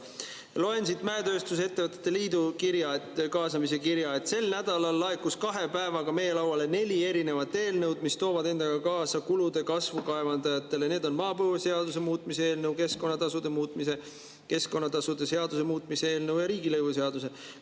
Loen siit mäetööstuse ettevõtete liidu kaasamise kirjast: sel nädalal laekus kahe päevaga meie lauale mitu erinevat eelnõu, mis toovad endaga kaasa kulude kasvu kaevandajatele, need on maapõueseaduse muutmise eelnõu, keskkonnatasude seaduse muutmise eelnõu ja riigilõivuseaduse muutmise eelnõu.